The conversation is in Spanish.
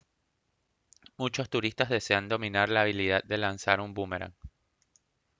muchos turistas desean dominar la habilidad de lanzar un búmeran